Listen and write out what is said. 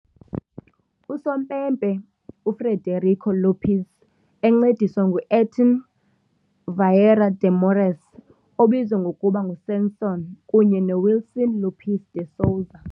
Usompempe - UFrederico Lopes, encediswa nguAirton Vieira de Morais, obizwa ngokuba ngu "Sansão", kunye noWilson Lopes de Souza.